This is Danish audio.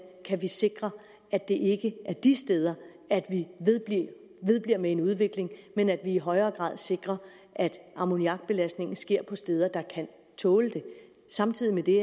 kan sikre at det ikke er de steder vi vedbliver med en udvikling men at vi i højere grad sikrer at ammoniakbelastningen sker på steder der kan tåle det samtidig med det